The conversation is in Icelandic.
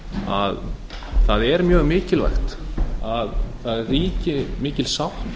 að það er mjög mikilvægt að það ríki mikil sátt